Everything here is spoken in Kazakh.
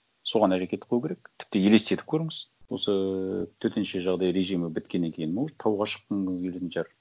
соған әрекет қылу керек тіпті елестетіп көріңіз осы төтенше жағдай режимі біткеннен кейін может тауға шыққыңыз келетін шығар